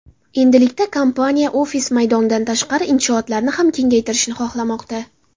Endilikda kompaniya ofis maydonidan tashqari inshootlarni ham kengaytirishni xohlamoqda.